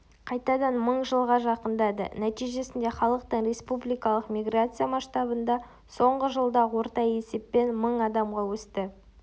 қайтадан мыңға жақындады нәтижесінде халықтың республикалық миграция масштабында соңғы жылда орта есеппен мың адамға өсті